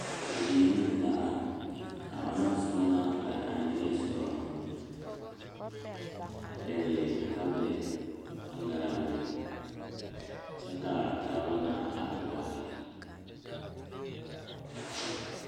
Bibiiri mine la are kaa onaŋ soba naŋ are a niŋe a pegle tabole tangaare mire kyɛ kaa taaba na are kaare.